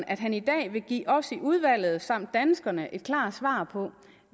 at han i dag vil give os i udvalget samt danskerne et klart svar på